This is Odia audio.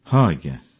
ହଁ ଆଜ୍ଞା